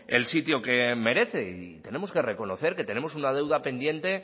el sitio que merece y tenemos que reconocer que tenemos una deuda pendiente